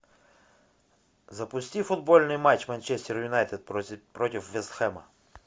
запусти футбольный матч манчестер юнайтед против вест хэма